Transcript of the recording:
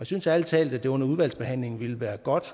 synes ærlig talt at det under udvalgsbehandlingen ville være godt